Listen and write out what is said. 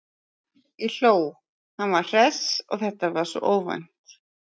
Ég hló, hann var svo hress og þetta var svo óvænt.